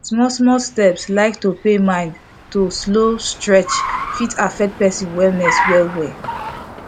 smallsmall steps like to pay mind to slow stretch fit affect person wellness wellwell